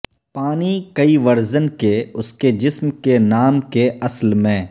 پانی کئی ورژن کے اس کے جسم کے نام کے اصل میں